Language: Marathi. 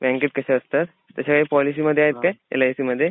बँकेत कशा असतात तश्या ह्या पॉलिसीमध्ये आहेत काय एल आय सी मध्ये ?